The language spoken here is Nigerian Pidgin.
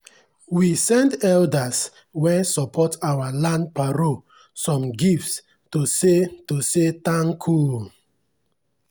we send elders wen support our land parole some gifts to say to say tanku